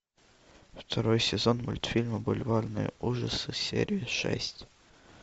второй сезон мультфильма бульварные ужасы серия шесть